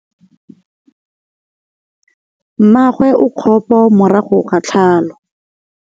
Mmagwe o kgapô morago ga tlhalô.